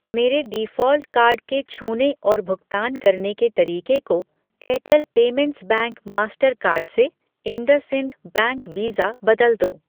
मेरे default card के छूने और भुगतान करने के तरीके को Airtel payments bank master card से इंडसइंड बैंक वीज़ा बदल दो।